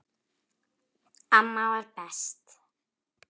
Amma var best.